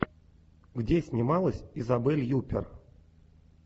где снималась изабель юппер